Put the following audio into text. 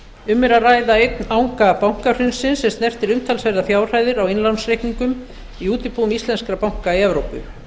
um er að ræða einn anga bankahrunsins er snertir umtalsverðar fjárhæðir á innlánsreikningum í útibúum íslenskra banka í evrópu